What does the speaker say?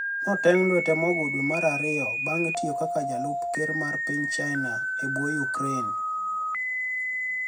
notenig lwete mogo dwe mar ariyo banig tiyo kaka jalup ker mar piniy chinia ebo ukraini e